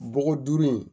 Bɔgɔ duuru in